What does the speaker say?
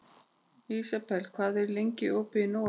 Isabel, hvað er lengi opið í Nóatúni?